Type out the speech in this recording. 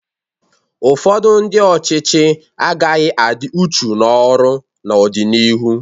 Ụfọdụ ndị ọchịchị agaghị adị uchu n'ọrụ n'ọdịnihu.